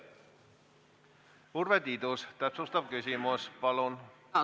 Urve Tiidus, täpsustav küsimus, palun!